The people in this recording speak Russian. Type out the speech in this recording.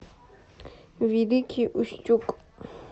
великий устюг